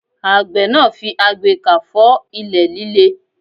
Àgbẹ̀ náà yóò fi agbekà fọ́ ilẹ̀ líle.